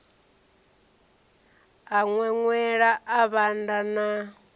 a ṅweṅwela a vhanda na